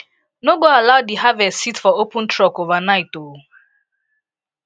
no go allow di harvest sit for open truck overnight o